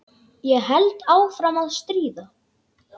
Ég held áfram að stríða.